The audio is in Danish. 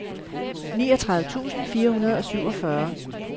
niogtredive tusind fire hundrede og syvogfyrre